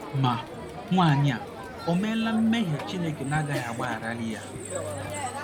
Ma, nwaanyị a ò meela mmehie Chineke na - agaghị agbagharali ya?